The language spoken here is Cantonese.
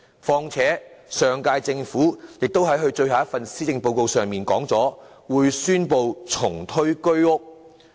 況且，上屆政府亦在其最後一份施政報告上宣布會重推租置計劃。